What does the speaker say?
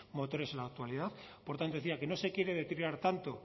motores en la actualidad por tanto decía que no se quiere deteriorar tanto